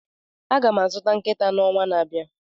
Aga m azụta nkịta n'ọnwa na-abịa.